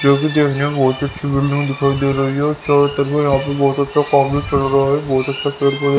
जो कि देख बहुत अच्छी बिल्डिंग दिखाई दे रही है और यहां पर बहुत अच्छा काम चल रहा है बहुत अच्छा पे--